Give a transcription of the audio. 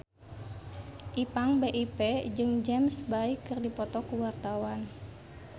Ipank BIP jeung James Bay keur dipoto ku wartawan